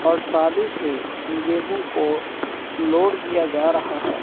और ट्राली से गेहूं को लोड किया जा रहा है।